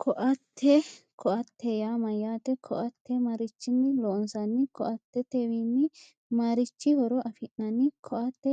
Ko"atte ko"attete yaa mayyaate ko"atte marichinni loonsanni ko"attetewiinni mmarichi horo afi'nanni ko"atte